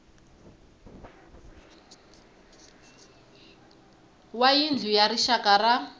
wa yindlu ya rixaka ya